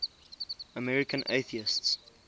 american atheists